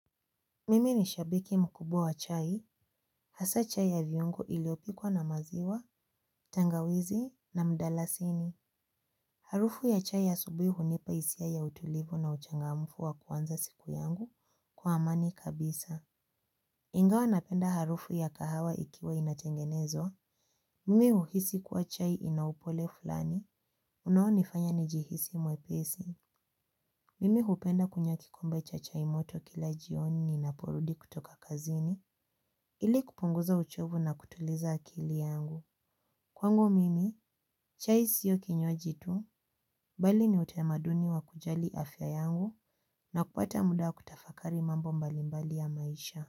Mimi ni shabiki mkubwa wa chai, hasaa chai ya viungu iliopikwa na maziwa, tangawizi na mdalasini. Harufu ya chai ya asubuhi unipa hisia ya utulivu na uchangamfu wa kuanza siku yangu kwa amani kabisa. Ingawa napenda harufu ya kahawa ikiwa inatengenezwa. Mimi uhisi kuwa chai inaupole fulani, unao nifanya nijihisi mwepesi. Mimi upenda kunywa kikomba cha chai moto kila jioni ninapo rudi kutoka kazini. Ili kupunguza uchovu na kutuliza akili yangu. Kwangu mimi, chai siyo kinywaji tu, mbali ni utamaduni wa kujali afya yangu na kupata muda kutafakari mambo mbalimbali ya maisha.